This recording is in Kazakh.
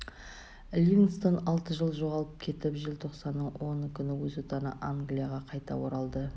ливингстон алты жыл жоғалып кетіп желтоқсанның оны күні өз отаны англияға қайта оралды